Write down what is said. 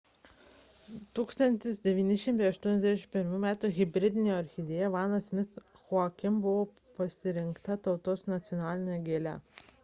1981 m hibridinė orchidėja vanda miss joaquim buvo pasirinkta tautos nacionaline gėle